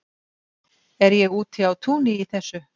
er ég úti á túni í þessu